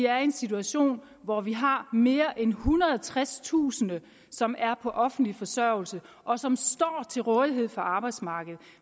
er i en situation hvor vi har mere end ethundrede og tredstusind som er på offentlig forsørgelse og som står til rådighed for arbejdsmarkedet